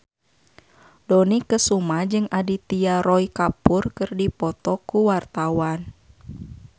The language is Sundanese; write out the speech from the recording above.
Dony Kesuma jeung Aditya Roy Kapoor keur dipoto ku wartawan